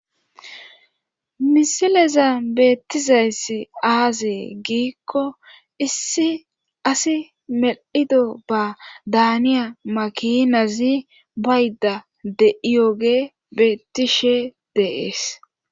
misileza beettizayssi aazee giikko issi asi mel7ido ba daaniya makinazi bayda de7iyoge beettishe deees